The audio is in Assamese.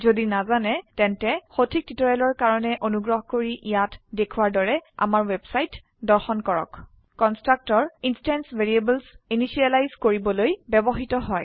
যদি নাজানে তেন্তে সঠিক টিউটৰিয়েলৰ কাৰনে অনুগ্ৰহ কৰি ইয়াত দেখোৱাৰ দৰে আমাৰ ৱেবছাইট দৰ্শন কৰক httpwwwspoken tutorialঅৰ্গ কনষ্ট্ৰাক্টৰ ইনস্ট্যান্স ভ্যাৰিয়েবলস ইনিসিয়েলাইজ কৰিবলৈ ব্যবহৃত হয়